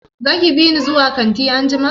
Zaki bini zuwa kanti anjima?